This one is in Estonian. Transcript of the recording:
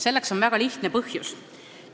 Selleks on väga lihtne põhjus.